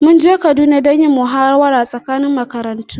mun je Kaduna don yin muhawara tsakanin makarantu